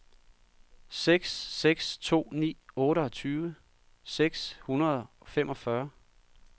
seks seks to ni otteogtyve seks hundrede og femogfyrre